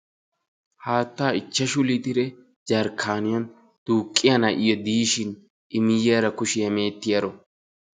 Haattaa ichchashu litire jarkkaaniyan duuqqiya na'iya diishin i miyyoyara kushiya meecettiyaro.